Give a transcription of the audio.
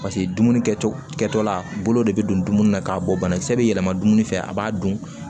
Paseke dumuni kɛcogo kɛtɔ la bolo de bɛ don dumuni na k'a bɔ banakisɛ bɛ yɛlɛma dumuni fɛ a b'a dun